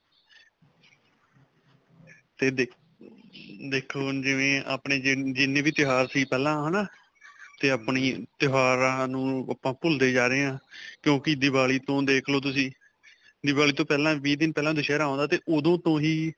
'ਤੇ ਦੇ-ਦੇਖੋ ਹੁਣ ਜਿਵੇਂ ਆਪਣੇ ਜਜ ਜਿੰਨੇ ਵੀ ਤਿਉਹਾਰ ਸੀ ਪਹਿਲਾਂ, ਹੈ ਨਾ 'ਤੇ ਆਪਣੀ ਤਿਉਹਾਰਾਂ ਨੂੰ ਆਪਾਂ ਭੁੱਲਦੇ ਜਾ ਰਹੇ ਹਾਂ ਕਿਉਂਕਿ ਦੀਵਾਲੀ ਤੋ ਦੇਖ ਲੋ ਤੁਸੀਂ, ਦੀਵਾਲੀ ਤੋਂ ਪਹਿਲਾਂ, ਵੀਹ ਦਿਨ ਪਹਿਲਾਂ ਦੁਸਹਿਰਾ ਆਉਂਦਾ 'ਤੇ ਓਦੋਂ ਤੋਂ ਹੀ.